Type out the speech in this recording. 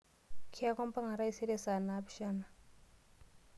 Kiaku imbang'a taisere saa naapishana.